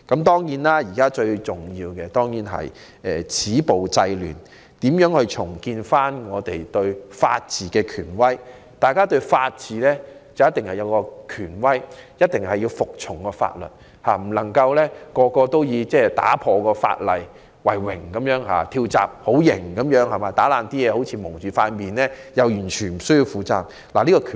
當然，現在最重要的是要止暴制亂，重建香港的法治權威，因法治有其權威性，市民必須遵守法律，不能以違反法例為榮，以為"跳閘"是很正義的行為，蒙面破壞則完全無需負上刑責。